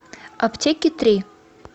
аптеки три